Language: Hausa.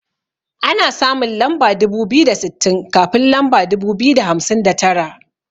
Ana samun lamba dubu biyu da sittin kafin lamba dubu biyu da hamsin da tara.